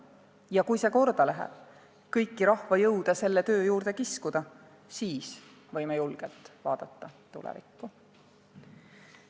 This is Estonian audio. Ja kui see korda läheb kõiki rahva jõude selle töö juurde kiskuda, siis võime julgelt vaadata tulevikku.